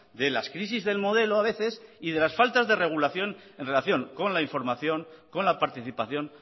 de las crisis del modelo a veces y de las faltas de regulación en relación con la información con la participación